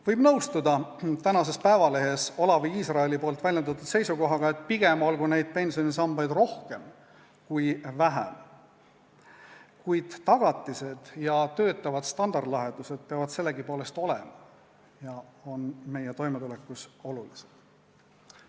Võib nõustuda Eesti Päevalehes Olavi Israeli väljendatud seisukohaga, et pigem olgu neid pensionisambaid rohkem kui vähem, kuid tagatised ja töötavad standardlahendused peavad sellegipoolest olema ja on meie toimetulekuks olulised.